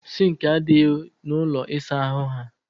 Sinki adịghị na ụlọ ịsa ahụ ha